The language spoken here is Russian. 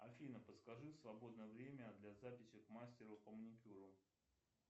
афина подскажи свободное время для записи к мастеру по маникюру